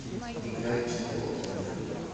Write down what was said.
играй ти о эф